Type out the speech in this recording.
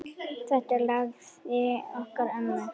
Þetta er lagið okkar ömmu.